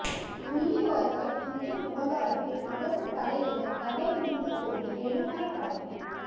முள்ளிவாய்க்கால் முற்றம் விவகாரத்தில் அரசு தலையிட தடை விதிக்க கோரி நெடுமாறன் வழக்கு